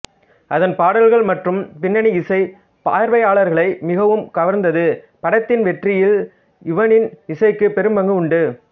அதன் பாடல்கள் மற்றும் பின்னணி இசை பார்வையாளர்களை மிகவும் கவர்ந்தது படத்தின் வெற்றியில் யுவனின் இசைக்கு பெரும் பங்கு உண்டு